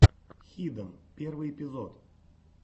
хиден первый эпизод